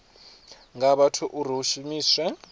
nga vhathu uri vha shumiswe